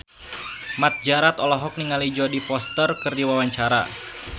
Mat Drajat olohok ningali Jodie Foster keur diwawancara